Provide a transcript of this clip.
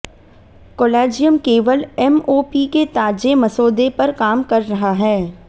collegium केवल MOP के ताजे मसौदे पर काम कर रहा है